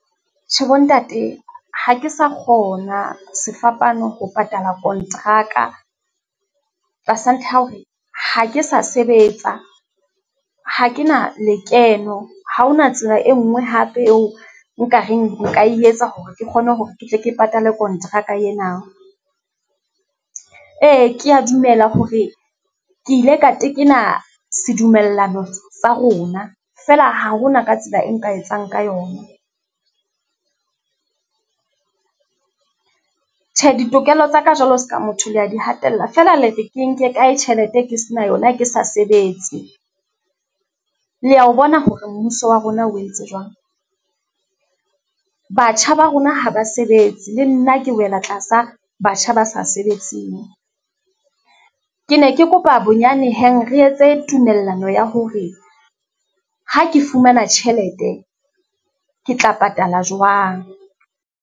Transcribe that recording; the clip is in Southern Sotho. Tjhe bo ntate, ha ke sa kgona sefapano ho patala kontraka. Tlasa ntlha ya hore, ha ke sa sebetsa ha ke na lekeno, ha hona tsela e nngwe hape eo nka reng nka e etsa hore ke kgone hore ke tle ke patala kontraka ena. Ee, ke ya dumela hore ke ile ka tekena sedumellano sa rona feela, ha hona ka tsela e nka etsang ka yona. Tjhe ditokelo tsa ka jwalo, seka motho le ya di hatella, feela le re ke e nke kae tjhelete, ke se na yona ke sa sebetse. Le ya o bona hore mmuso wa rona o entse jwang? Batjha ba rona ha ba sebetse, le nna ke wela tlasa batjha ba sa sebetseng. Ke ne ke kopa bonyane heng re etse tumellano ya hore, ha ke fumana tjhelete, ke tla patala jwang?